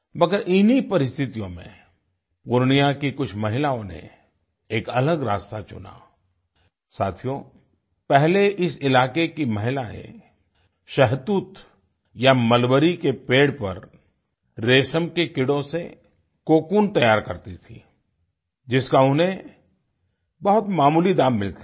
मगर इन्हीं परिस्थितियों में पूर्णिया की कुछ महिलाओं ने एक अलग रास्ता चुना आई साथियो पहले इस इलाके की महिलाएं शहतूत या मलबरी के पेड़ पर रेशम के कीड़ों से कोकून कोकून तैयार करती थीं जिसका उन्हें बहुत मामूली दाम मिलता था